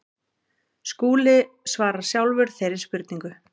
Skúli svarar sjálfur þeirri spurningu.